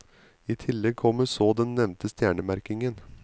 I tillegg kommer så den nevnte stjernemerkingen.